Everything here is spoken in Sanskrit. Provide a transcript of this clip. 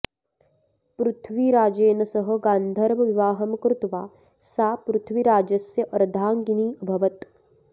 पृथ्वीराजेन सह गान्धर्वविवाहं कृत्वा सा पृथ्वीराजस्य अर्धाङ्गिनी अभवत्